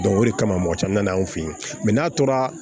o de kama mɔgɔ caman na na anw fɛ yen n'a tora